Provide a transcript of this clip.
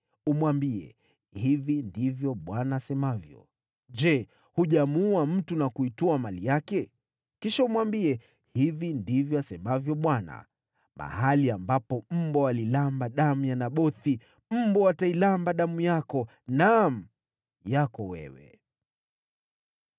Umwambie, ‘Hivi ndivyo Bwana asemavyo: Je, hujamuua mtu na kuitwaa mali yake?’ Kisha umwambie, ‘Hivi ndivyo asemavyo Bwana : Mahali ambapo mbwa waliramba damu ya Nabothi, mbwa watairamba damu yako, naam, yako wewe!’ ”